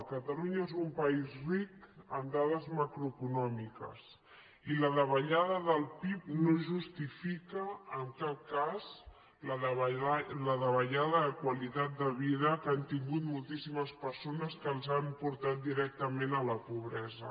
catalunya és un país ric en dades macroeconòmiques i la davallada del pib no justifica en cap cas la davallada de qualitat de vida que han tingut moltíssimes persones que els han portat directament a la pobresa